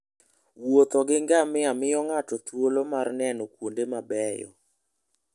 Wuotho gi ngamia miyo ng'ato thuolo mar neno kuonde mabeyo.